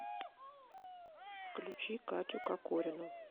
включи катю кокорину